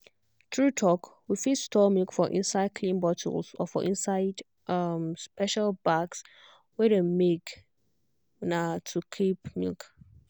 true talk we fit store milk for inside clean bottles or for inside um special bags wey dem make um to keep milk.